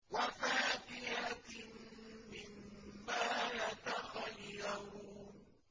وَفَاكِهَةٍ مِّمَّا يَتَخَيَّرُونَ